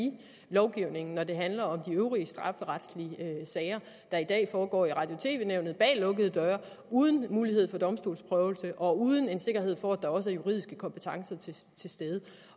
lovgivningen når det handler om de øvrige strafferetlige sager der i dag foregår i radio og tv nævnet bag lukkede døre uden mulighed for domstolsprøvelse og uden en sikkerhed for at der også er juridiske kompetencer til stede det